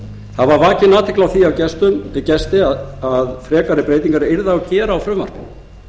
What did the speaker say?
athygli á því við gesti að frekari breytingar yrði að gera á frumvarpinu